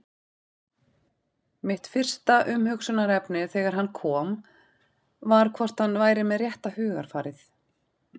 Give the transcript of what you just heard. Mitt fyrsta umhugsunarefni þegar hann kom var hvort hann væri með rétta hugarfarið?